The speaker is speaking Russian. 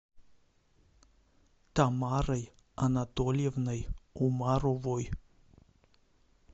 тамарой анатольевной умаровой